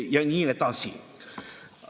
Ja nii edasi.